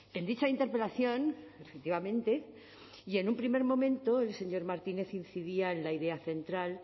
en dicha interpelación efectivamente y en un primer momento el señor martínez incidía en la idea central